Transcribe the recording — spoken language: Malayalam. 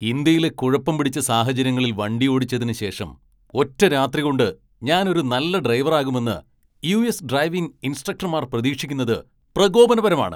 ഇന്ത്യയിലെ കുഴപ്പം പിടിച്ച സാഹചര്യങ്ങളിൽ വണ്ടിയോടിച്ചതിന് ശേഷം ഒറ്റരാത്രികൊണ്ട് ഞാൻ ഒരു നല്ല ഡ്രൈവറാകുമെന്ന് യു.എസ് ഡ്രൈവിംഗ് ഇൻസ്ട്രക്ടർമാർ പ്രതീക്ഷിക്കുന്നത് പ്രകോപനപരമാണ്.